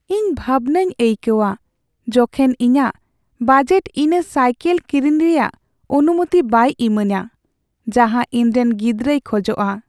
ᱤᱧ ᱵᱷᱟᱵᱱᱟᱧ ᱟᱹᱭᱠᱟᱹᱣᱟ ᱡᱚᱠᱷᱮᱱ ᱤᱧᱟᱹᱜ ᱵᱟᱡᱮᱴ ᱤᱧᱚᱱᱟ ᱥᱟᱭᱠᱤᱞ ᱠᱤᱨᱤᱧ ᱨᱮᱭᱟᱜ ᱚᱱᱩᱢᱚᱛᱤ ᱵᱟᱭ ᱤᱢᱟᱹᱧᱟᱹ ᱡᱟᱦᱟᱸ ᱤᱧᱨᱮᱱ ᱜᱤᱫᱨᱟᱹᱭ ᱠᱷᱚᱡᱚᱜᱼᱟ ᱾